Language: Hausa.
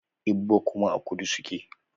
Igbo kuma a kudu suke